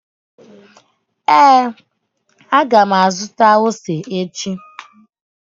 Ee, a ga m azụta ose echi